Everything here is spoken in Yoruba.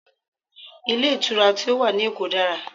Ilé ìtura tí ó wà ní èkó dára